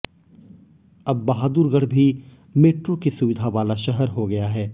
अब बहादुरगढ़ भी मेट्रो की सुविधा वाला शहर हो गया है